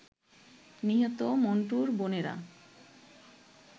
নিহত মন্টুর বোনেরা